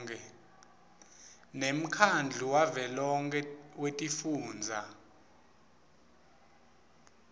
nemkhandlu wavelonkhe wetifundza